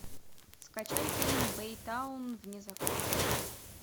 скачай фильм бэйтаун вне закона